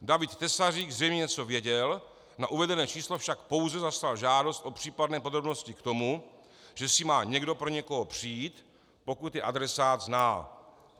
David Tesařík zřejmě něco věděl, na uvedené číslo však pouze zaslal žádost o případné podrobnosti k tomu, že si má někdo pro někoho přijít, pokud je adresát zná.